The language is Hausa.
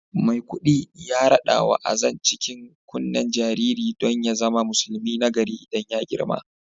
Maikudi ya radawa Azan cikin kunnen jaririn don ya zama musulmi nagari idan ya girma